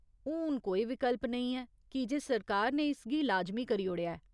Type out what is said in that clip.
हून कोई विकल्प नेईं ऐ कीजे सरकार ने इसगी लाजमी करी ओड़ेआ ऐ।